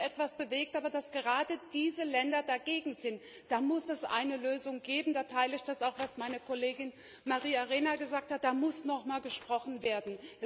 Es hat sich etwas bewegt, aber dass gerade diese Länder dagegen sind da muss es eine Lösung geben, da teile ich auch das, was meine Kollegin Maria Arena gesagt hat, da muss noch einmal gesprochen werden.